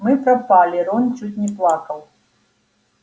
мы пропали рон чуть не плакал